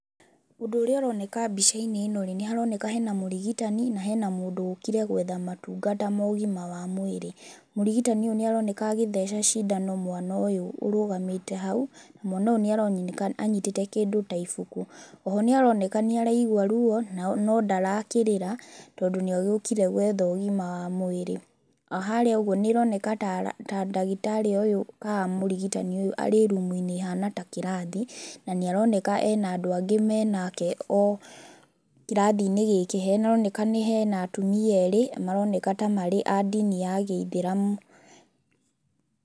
Ũndũ ũria ũroneka mbica-inĩ ĩno rĩ, nĩ haroneka hena mũrigitani na hena mũndũ ũkire gwetha motungata ma ũgima wa mwĩrĩ. Mũrigitani ũyũ nĩ aroneka agĩtheca cindano mwana ũyũ ũrũgamĩte hau. Mwana ũyũ nĩ aroneka anyitĩte kĩndũ ta ibuku. Oho nĩ aroneka nĩaraigua ruo nao no ndarakĩrĩra tondũ nĩagĩũkire gwetha ũgima wa mwĩrĩ. Harĩa ũguo nĩ haroneka tara, ta ndagĩtarĩ ũyũ kana mũrigitani uyu arĩ rumu-inĩ ĩhana ta kĩrathi, na nĩ aroneka ena andũ angĩ menake o kĩrathi-inĩ gĩkĩ hena nĩ haroneka hena atumia erĩ na maroneka tamarĩ a dini ya gĩithĩramu.